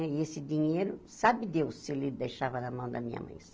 E esse dinheiro, sabe Deus se ele deixava na mão da minha mãe.